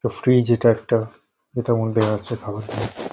তো ফ্রিজ এটা একটা যেটার মধ্যে আছে খাবার দাবার।